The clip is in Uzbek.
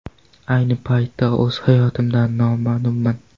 Ayni paytda o‘z hayotimdan mamnunman”.